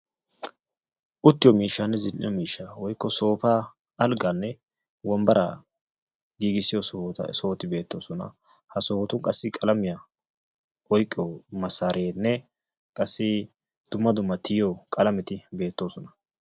uttiyo miishsaane zin'iyo miishshaa woyikko soopaa, alggaanne wombaraa giigissiyo sohoti beettoosona. ha sohotun qassi qalamiya oyiqqiyo massaarenne qassi dumma dumma tiyiyo qalameeti beettoosona.